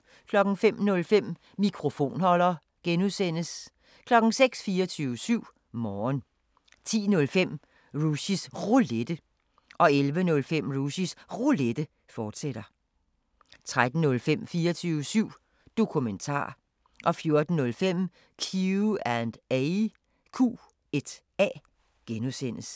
05:05: Mikrofonholder (G) 06:00: 24syv Morgen 10:05: Rushys Roulette 11:05: Rushys Roulette, fortsat 13:05: 24syv Dokumentar 14:05: Q&A (G)